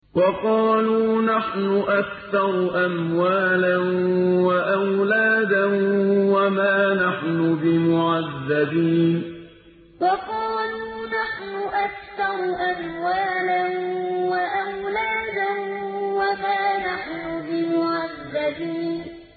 وَقَالُوا نَحْنُ أَكْثَرُ أَمْوَالًا وَأَوْلَادًا وَمَا نَحْنُ بِمُعَذَّبِينَ وَقَالُوا نَحْنُ أَكْثَرُ أَمْوَالًا وَأَوْلَادًا وَمَا نَحْنُ بِمُعَذَّبِينَ